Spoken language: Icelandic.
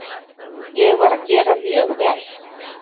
Ég var að gera mjög vel.